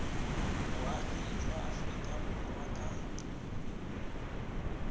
boagi jwa aforika borwa ka